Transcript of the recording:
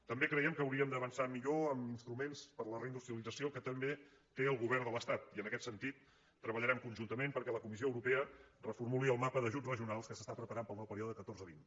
també creiem que hauríem d’avançar millor amb ins·truments per a la reindustrialització que també té el govern de l’estat i en aquest sentit treballarem con·juntament perquè la comissió europea reformuli el mapa d’ajuts regionals que es prepara per al nou pe·ríode catorze·vint